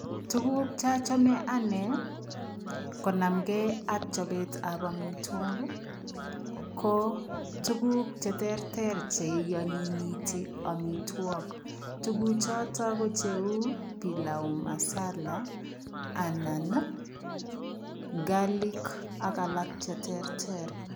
Tuguk chochome anne konamnge ak chobetab amitwogik, ko tuguk che terter che ianyinyiti amitwogik. Tuguchoto ko cheu pilau masala anan garlic ak alak cheterter.